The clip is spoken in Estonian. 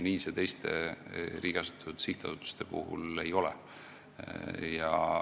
Nii see teiste riigi asutatud sihtasutuste puhul ei ole.